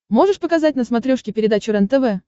можешь показать на смотрешке передачу рентв